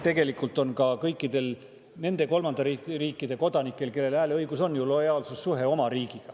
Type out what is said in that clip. Tegelikult on ka kõikidel nende kolmandate riikide kodanikel, kellel hääleõigus on, lojaalsussuhe oma riigiga.